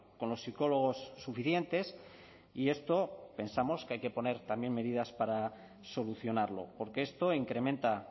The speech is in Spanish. con los psicólogos suficientes y esto pensamos que hay que poner también medidas para solucionarlo porque esto incrementa